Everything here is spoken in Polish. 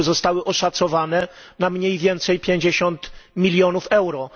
r. zostały oszacowane na mniej więcej 50 mln euro.